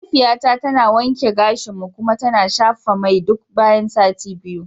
Mahaifiyata tana wanke gashinmu kuma tana shafa mai duk bayan sati biyu.